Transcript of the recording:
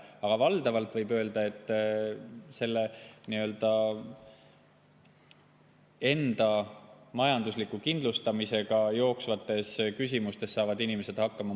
Aga valdavalt, võib öelda, saavad inimesed enda majandusliku kindlustamisega jooksvates küsimustes hakkama.